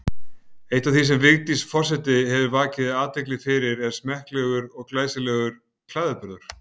Eitt af því sem Vigdís forseti hefur vakið athygli fyrir er smekklegur og glæsilegur klæðaburður.